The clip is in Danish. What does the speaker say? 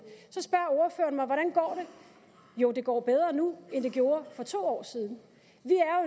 går jo det går bedre nu end det gjorde for to år siden